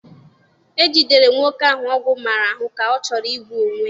E jidere nwoke ahụ ọgwụ maara ahụ ka ọ chọrọ igbu onwe ya.